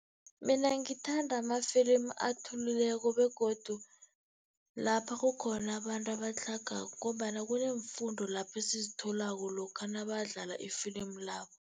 Mina ngithanda ama-film athulileko begodu lapha kukhona abantu abatlhagako, ngombana kuneemfundo lapho esizitholako lokha nabadlala ifilimu labo.